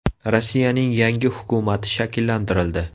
Rossiyaning yangi hukumati shakllantirildi.